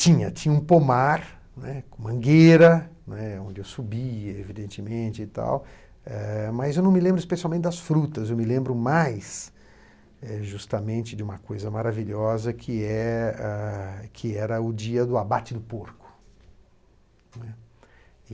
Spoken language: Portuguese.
Tinha, tinha um pomar, né, com mangueira, né, onde eu subia, evidentemente e tal, eh mas eu não me lembro especialmente das frutas, eu me lembro mais eh justamente de uma coisa maravilhosa, que eh ah que era o dia do abate do porco.